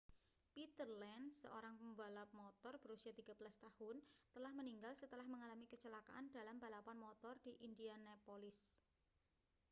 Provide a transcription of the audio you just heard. peter lenz seorang pembalap motor berusia 13 tahun telah meninggal setelah mengalami kecelakaan dalam balapan motor di indianapolis